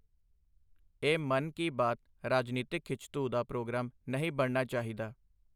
ਇਹ ਮਨ ਕੀ ਬਾਤ ਰਾਜਨੀਤਕ ਖਿੱਚਧੂਹ ਦਾ ਪ੍ਰੋਗਰਾਮ ਨਹੀਂ ਬਣਨਾ ਚਾਹੀਦਾ।